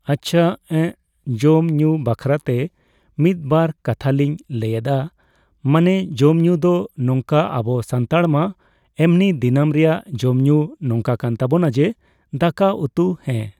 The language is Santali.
ᱟᱪᱪᱷᱟ᱾ ᱮᱸᱜ ᱡᱚᱢᱼᱧᱩ ᱵᱟᱠᱷᱨᱟᱛᱮ ᱢᱤᱫᱼᱵᱟᱨ ᱠᱟᱛᱷᱟᱞᱤᱧ ᱞᱟᱹᱭᱮᱫᱟ ᱾ ᱢᱟᱱᱮ ᱡᱚᱢᱼᱧᱩ ᱫᱚ ᱱᱚᱝᱠᱟ ᱟᱵᱚ ᱥᱟᱱᱛᱟᱲ ᱢᱟ ᱮᱢᱱᱤ ᱫᱤᱱᱟᱹᱢ ᱨᱮᱭᱟᱜ ᱡᱚᱢᱼᱧᱩ ᱱᱚᱝᱠᱟ ᱠᱟᱱ ᱛᱟᱵᱚᱱᱟ ᱡᱮ, ᱫᱟᱠᱟ, ᱩᱛᱩ ᱦᱮᱸ ᱾